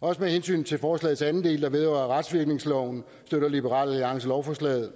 også med hensyn til forslagets anden del der vedrører retsvirkningsloven støtter liberal alliance lovforslaget